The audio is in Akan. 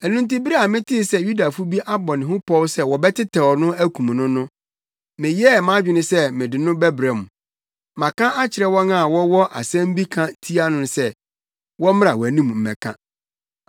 Ɛno nti bere a metee sɛ Yudafo bi abɔ ne ho pɔw sɛ wɔbɛtɛw no akum no no, meyɛɛ mʼadwene sɛ mede no bɛbrɛ wo. Maka akyerɛ wɔn a wɔwɔ asɛm bi ka tia no no sɛ, wɔmmra wʼanim mmɛka.